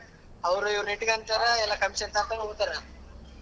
ಅವ್ರು ಇವ್ರ್ನ ಇಟ್ಕೊಂತಾರ ಎಲ್ಲ commission ತಗಂತಾರ ಹೋಗ್ತಾರಾ.